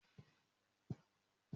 Mo kó àwọn pílò kéékèké náà kúrò lórí àga.